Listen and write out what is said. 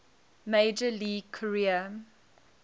major league career